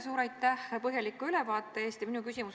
Suur aitäh põhjaliku ülevaate eest!